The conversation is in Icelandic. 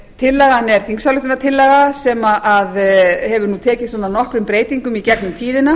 tillagan er þingsályktunartillaga sem hefur tekið nokkrum breytingum í gegnum tíðina